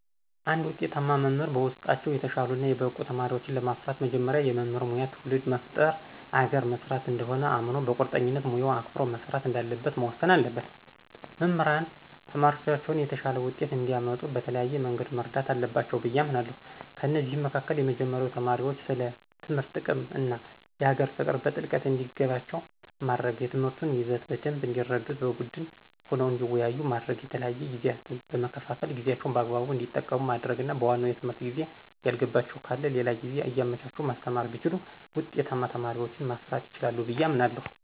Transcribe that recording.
እንድ ውጤታማ መምህር በውጤታቸው የተሻሉ እና የበቁ ተማሪወችን ለማፍራት መጀመሪያ የመምህር ሙያ ትውልድ መፍጠር አገርን መስራት እንደሆነ አምኖ በቁርጠኝነት ሙያውን አክብሮ መስራት እንዳለበት መወሰን አለበት። መምህራን ተማሪዎቻቸውን የተሻለ ውጤት እንዲአመጡ በተለያየ መንገድ መርዳት አለባቸው ብዬ አምናለሁ። ከእነዚህም መካከል የመጀመሪያው ተማሪዎች ስለ ትምህርት ጥቅም እና የሀገር ፍቅር በጥልቀት እንዲገባቸው ማድረግ፣ የትምህርቱን ይዘት በደንብ እንዲረዱት በቡድን ሆነው እንዲወያዩ ማድረግ፣ የተለያዩ ጊዜያትን በመከፋፈል ጊዜአቸውን በአግባቡ እንዲጠቀሙ ማድረግና በዋናው የትምህርት ጊዜ ያልገባቸው ካለ ሌላ ጊዜ እያመቻቹ ማስተማር ቢችሉ ውጤታማ ተማሪዎችን ማፍራት ይችላሉ ብየ አምናለሁ።